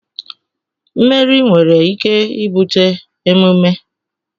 mmeri nwere ike ibute emume